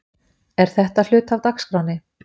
Er þetta hluti af dagskránni?